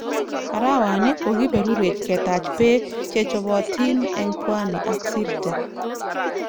Arawani, kokiperurech ketach beek chechobotin eng pwani ak Sirte.